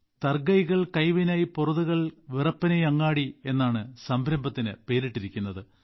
താര കൈകൾ കൈവിനൈയ് പൊറുതകൾ വിറപ്പനൈ അങ്ങാടി എന്നാണ് സംരംഭത്തിന് പേരിട്ടിരിക്കുന്നത്